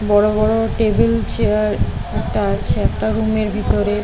বড় বড় table chair রাখা আছে একটা রুম - এর ভিতরে।